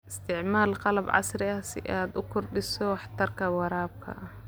Isticmaal qalab casri ah si aad u kordhiso waxtarka waraabka.